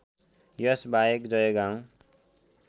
यस बाहेक जयगाउँ